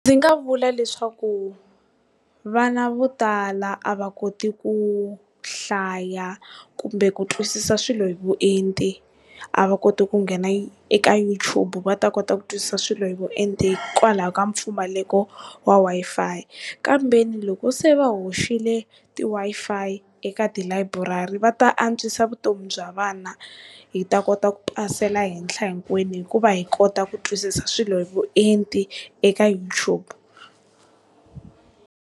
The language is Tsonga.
Ndzi nga vula leswaku vana vo tala a va koti ku hlaya kumbe ku twisisa swilo hi vuenti a va koti ku nghena eka YouTube va ta kota ku twisisa swilo hi vuenti hikwalaho ka mpfumaleko wa Wi-Fi kambeni loko se va hoxile ti Wi-Fi eka tilayiburari va ta antswisa vutomi bya vana, hi ta kota ku pasela henhla hinkwenu hikuva hi kota ku twisisa swilo hi vuenti eka YouTube.